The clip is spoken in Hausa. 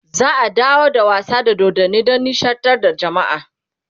za'a dawo da wasa da dodanni Dan nishaɗantar da jamaa